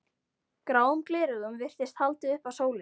Gráum gleraugum virtist haldið upp að sólinni.